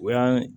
O y'an